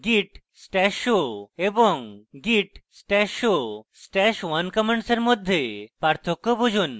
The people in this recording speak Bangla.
git stash show এবং git stash show stash @{1} commands মধ্যে পার্থক্য বুঝুন